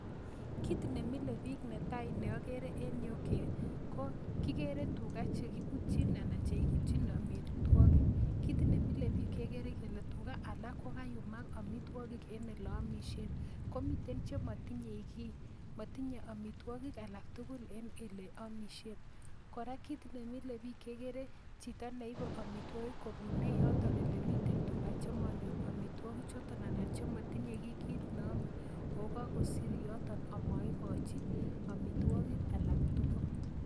Kit nemilebik netai neakeree en yu ko kikeree tuga chekibutyin amitwagik Kit nemilebik kekeree Kole tugaa alak kokayumak amitwagik en oleyamishen komiten chematinye gii matinye amitwagik alaktugul en oleyamishen koraa Raa kegeree Chito neibe amitwokik Koba kobune yoton yelemiten tuga chemanyor amitwokik choton anan chematinye bkit neyame o kakosir yoton amaigochi amitwogik alaktugul